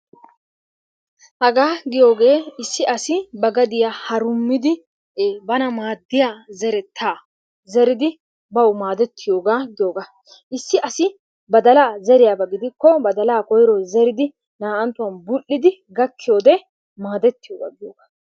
Hagaa giyogee issi asi ba gadiyaa harumidi bana maaddiya zerettaa zeridi bawu maadettiyogaa giyogaa. Issi badalaa zeriyaba gidikko badalaa koyruwan zeridi naa'anttuwan bull'idigakkiyode maadettiyogaa giyogaa.